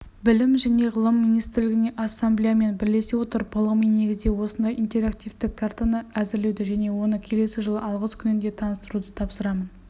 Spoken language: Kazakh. білім және ғылым министрлігіне ассамблеямен бірлесе отырып ғылыми негізде осындай интерактивті картаны әзірлеуді және оны келесі жыл алғыс күнінде таныстыруды тапсырамын